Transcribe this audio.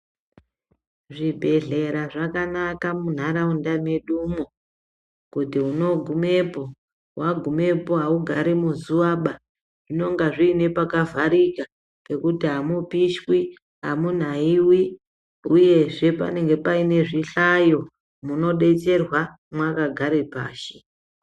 Zvibhedhlera zvakanaka munharawunda medu mo, kuti unogumepo. Wagumepo, hawugari muzuwaba inongazve inepakavharika pekuti hamupishwi, hamunayiwi uyezve panenge pane zvihlayo munodetserwa makagara pashi.